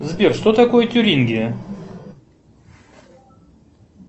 сбер что такое тюрингия